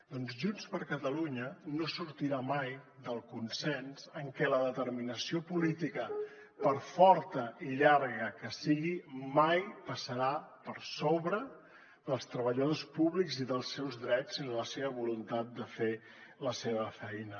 doncs junts per catalunya no sortirà mai del consens en què la determinació política per forta i llarga que sigui mai passarà per sobre dels treballadors públics i dels seus drets i de la seva voluntat de fer la seva feina